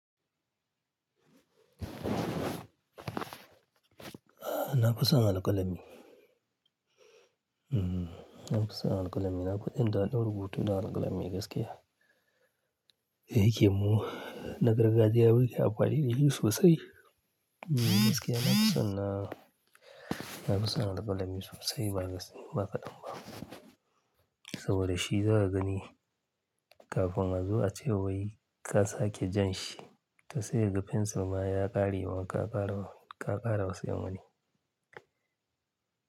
Ahn, na fi son alƙalami. Na fi son alƙalami. Na fi jin dadan rubutu da alƙalami gaskiya. Dayake mu, na gargadiya muke amfani dashi sosai. Gaskiya na fi son, na fi son alƙalami sosai ba kadan ba. Saboda shi za ka gani kafin ka zo a cewai ka sake jan shi, ka tsaya ga fensir ma ya ƙare wa ka ƙara, ka ƙara wasu yawani.